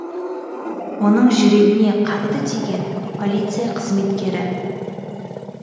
оның жүрегіне қатты тиген полиция қызметкері